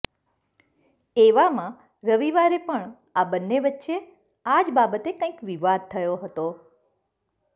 એવામાં રવિવારે પણ આ બંને વચ્ચે આ જ બાબતે કંઈક વિવાદ થયો હતો